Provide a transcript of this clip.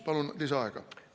Palun lisaaega!